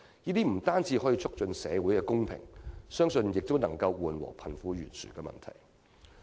這不單可以促進社會公平，相信亦能夠緩和貧富懸殊的問題。